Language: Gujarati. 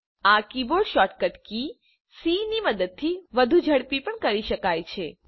આ કીબોર્ડ શોર્ટ કટ કી સી ની મદદથી વધુ ઝડપથી પણ કરી શકાય છે